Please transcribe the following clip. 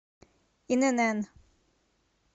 инн